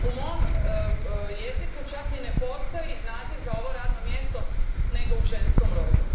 U mom jeziku čak ni ne postoji naziv za ovo radno mjesto nego u ženskom rodu.